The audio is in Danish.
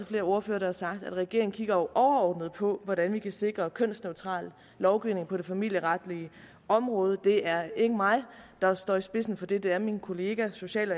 flere ordførere har sagt at regeringen jo kigger overordnet på hvordan vi kan sikre kønsneutral lovgivning på det familieretlige område det er ikke mig der står i spidsen for det det er min kollega social